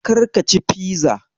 Karka ci fiza